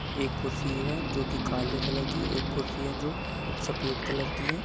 एक खुर्सी है जो की काले कलर की एक खुर्सी है जो सफ़ेद कलर की है।